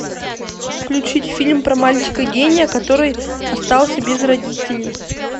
включить фильм про мальчика гения который остался без родителей